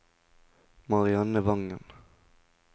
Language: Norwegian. Marianne Vangen